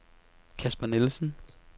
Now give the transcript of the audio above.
Casper Nielsen